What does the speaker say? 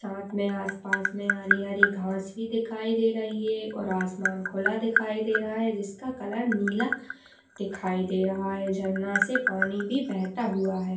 साथ मे आस पास मे हरी हरी घास भी दिखाई दे रही है और आसमान खुला दिखाई दे रहा है जिसका कलर नीला दिखाई दे रहा है झरना से पानी भी बहता हुआ है।